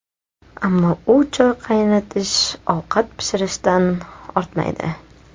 Ammo u choy qaynatish, ovqat pishirishdan ortmaydi.